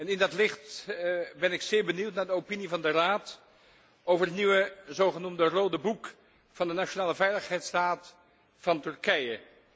In dat licht ben ik zeer benieuwd naar de opinie van de Raad over het nieuwe zogenoemde rode boek van de nationale veiligheidsraad van Turkije.